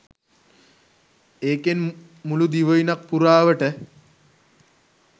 ඒකෙන් මුලු දිවයිනක් පුරාවට